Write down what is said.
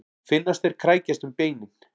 Finnast þeir krækjast um beinin.